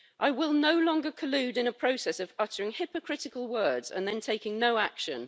I will no longer collude in a process of uttering hypocritical words and then taking no action.